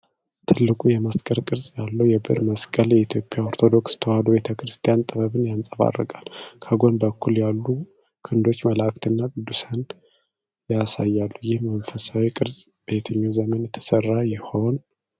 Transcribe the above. ትልቁ የመስቀል ቅርጽ ያለው የብር መስቀል የኢትዮጵያ ኦርቶዶክስ ተዋህዶ ቤተክርስቲያን ጥበብን ያንጸባርቃል። ከጎን በኩል ያሉ ክንዶች መላዕክትንና ቅዱሳንን ያሳያሉ፤ ይህ መንፈሳዊ ቅርጽ በየትኛው ዘመን ተሠራ ይሆን?